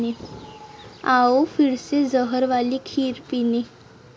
आवो फिरसे जहर वाली खीर पीने'